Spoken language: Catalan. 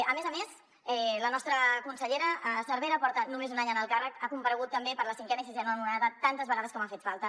a més a més la nostra consellera cervera porta només un any en el càrrec ha comparegut també per la cinquena i sisena onades tantes vegades com ha fet falta